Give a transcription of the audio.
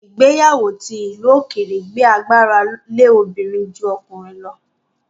Ìgbéyàwó ti ìlú òkèèrè gbé agbára lé obìnrin lọ́wọ́ ju ọkùnrin lọ